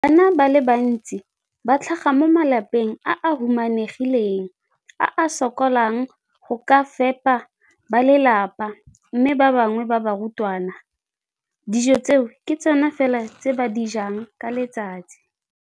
Bana ba le bantsi ba tlhaga mo malapeng a a humanegileng a a sokolang go ka fepa ba lelapa mme ba bangwe ba barutwana, dijo tseo ke tsona fela tse ba di jang ka letsatsi.